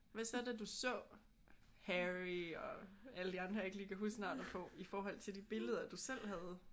Hvad så da du så Harry og alle de andre jeg ikke lige kan huske navnet på? I forhold til de billeder du selv havde?